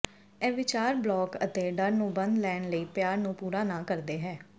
ਇਹ ਵਿਚਾਰ ਬਲਾਕ ਅਤੇ ਡਰ ਨੂੰ ਬੰਦ ਲੈਣ ਲਈ ਪਿਆਰ ਨੂੰ ਪੂਰਾ ਨਾ ਕਰਦੇ ਹੈ